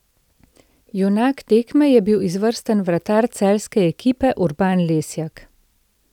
Junak tekme je bil izvrstni vratar celjske ekipe Urban Lesjak.